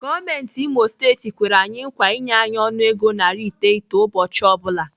Gọọmenti Imo steeti kwere anyi nkwa inye anyị ọnụego narị iteghete ụbọchị ọ bụla.